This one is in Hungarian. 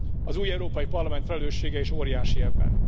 Az új Európai Parlament felelőssége is óriási ebben.